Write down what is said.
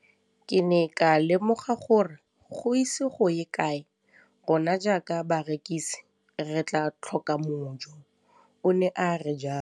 Ke ne ka lemoga gore go ise go ye kae rona jaaka barekise re tla tlhoka mojo, o ne a re jalo.